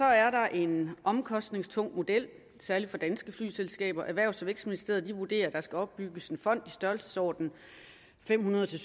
er der en omkostningstung model særlig for danske flyselskaber erhvervs og vækstministeriet vurderer at der skal opbygges en fond i størrelsesordenen fem hundrede til